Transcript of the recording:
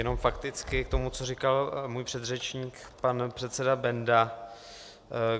Jenom fakticky k tomu, co říkal můj předřečník, pan předseda Benda.